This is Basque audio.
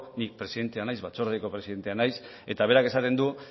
ni batzordeko presidentea naiz eta berak esaten du